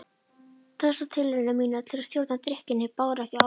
Þessar tilraunir mínar til að stjórna drykkjunni báru ekki árangur.